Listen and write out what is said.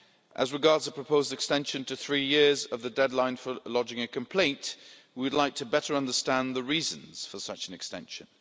As regards the proposed extension to three years of the deadline for lodging a complaint, we'd like to better understand the reasons for such an extension.